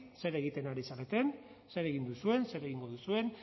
zer egiten ari zareten zer egin duzuen zer egingo duzuen